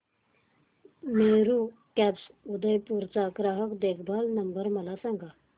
Meru cabs Udaipur चा ग्राहक देखभाल नंबर मला सांगा